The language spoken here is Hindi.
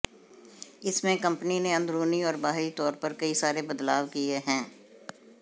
इसमें कंपनी ने अंदरूनी और बाहरी तौर पर कई सारे बदलाव किए हैं